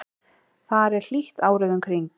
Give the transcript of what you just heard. þar er hlýtt árið um kring